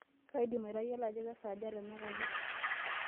kaidim atayiolo ajo kesaaja tenakata